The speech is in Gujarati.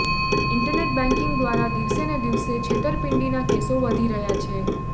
ઇન્ટરનેટ બેંકિંગ દ્વારા દિવસેને દિવસે છેતરપિંડીના કેસો વધી રહ્યા છે